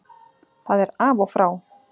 Það er af og frá!